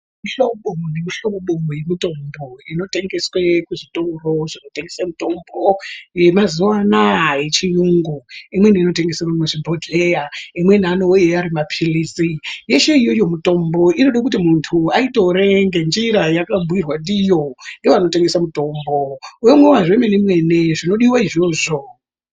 Mihlobo nemihlobo yemutombo inotengeswe kuzvitoro zvinotengese mutombo yemazuwa anaa yechiyungu, imweni inotengeserwe muzvibhodhleya, imweni anouye ari mapilizi. Yeshe iyoyo mutombo inode kuti muntu aitore ngenjira yeakabhuirwa ndiyo ngevanotengesa mutombo, womwiwa zvemenemene zvinodiwa izvozvo.